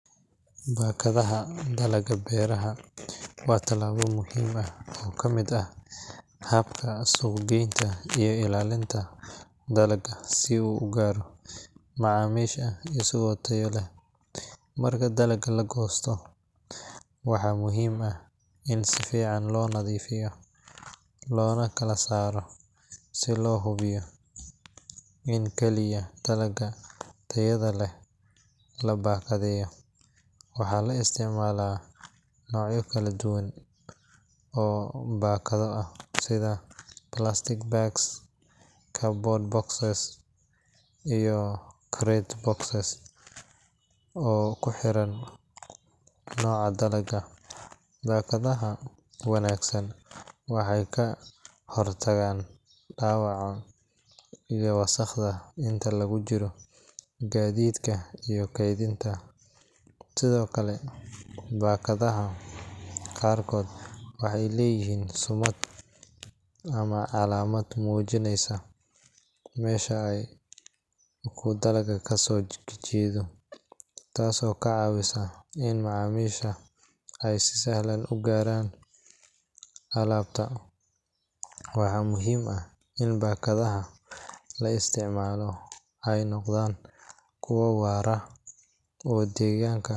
Baakadaha dalagga beeraha waa tallaabo muhiim ah oo ka mid ah habka suuqgeynta iyo ilaalinta dalagga si uu u gaaro macaamiisha isagoo tayo leh. Marka dalagga la goosto, waxaa muhiim ah in si fiican loo nadiifiyo loona kala saaro si loo hubiyo in kaliya dalagga tayada leh la baakadeeyo. Waxaa la isticmaalaa noocyo kala duwan oo baakado ah sida plastic bags, cardboard boxes, iyo crate boxes oo ku xiran nooca dalagga. Baakadaha wanaagsan waxay ka hortagaan dhaawaca iyo wasakhda inta lagu jiro gaadiidka iyo kaydinta. Sidoo kale, baakadaha qaarkood waxay leeyihiin sumad ama calaamad muujineysa meesha uu dalagga ka soo jeedo, taasoo ka caawinaysa in macaamiisha ay si sahlan u garan karaan alaabta. Waxaa muhiim ah in baakadaha la isticmaalo ay noqdaan kuwo waara oo deegaanka.